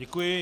Děkuji.